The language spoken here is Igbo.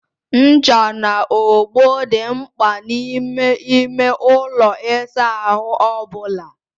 Ncha na ogbo dị mkpa n'ime ime ụlọ ịsa ahụ ọ bụla.